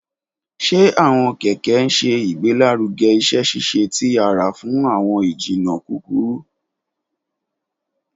Ṣe awọn kẹkẹ ṣe igbelaruge iṣẹ-ṣiṣe ti ara fun awọn ijinna kukuru?